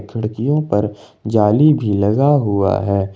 खिड़कियों पर जाली भी लगा हुआ है।